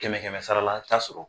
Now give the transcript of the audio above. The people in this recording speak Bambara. Kɛmɛ kɛmɛ sara la taa sɔrɔ